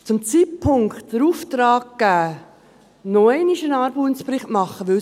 Zu diesem Zeitpunkt den Auftrag geben, um noch einmal einen Armutsbericht machen zu lassen …